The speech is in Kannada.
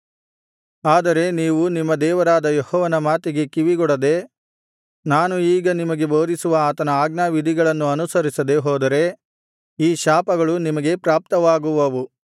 ಆದರೆ ನೀವು ನಿಮ್ಮ ದೇವರಾದ ಯೆಹೋವನ ಮಾತಿಗೆ ಕಿವಿಗೊಡದೆ ನಾನು ಈಗ ನಿಮಗೆ ಬೋಧಿಸುವ ಆತನ ಆಜ್ಞಾವಿಧಿಗಳನ್ನು ಅನುಸರಿಸದೆ ಹೋದರೆ ಈ ಶಾಪಗಳು ನಿಮಗೆ ಪ್ರಾಪ್ತವಾಗುವವು